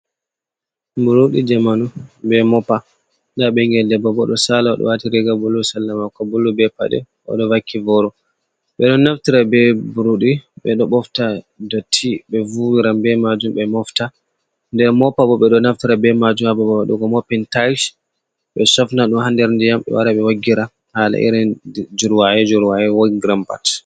Buruɗi jamanu be mopa, nda ɓingel debbo bo ɗo sala, o ɗo wati riga bulu sala mako bulu be paɗe, o ɗo vaki boro. Ɓe ɗo naftira be burɗi ɓe ɗo bofta dotti, ɓe vuwiran be majum, be mofta. nde mopa bo ɓe ɗo naftira ɓe majum ha babal waduga mopin tayls, ɓe shofna dum ha nder ndiyam ɓe wara ɓe waggira hala irin jurwaye-jurwae woggiran pat.